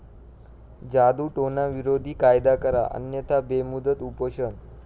जादुटोणाविरोधी कायदा करा अन्यथा बेमुदत उपोषण